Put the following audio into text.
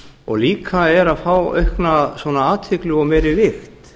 og líka er að fá aukna athygli og meiri vigt